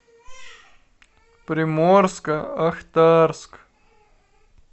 приморско ахтарск